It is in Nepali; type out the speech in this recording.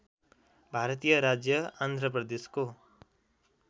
भारतीय राज्य आन्ध्र प्रदेशको